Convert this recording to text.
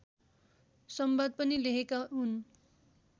संवाद पनि लेखेका हुन्